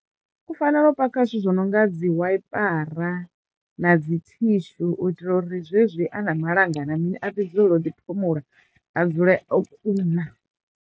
U fanela u paka zwithu zwo no nga dzi waiipara na dzi thishu u itela uri zwezwi a na malanga na mini a ḓi dzulela u ḓiphumula a dzule o kuna.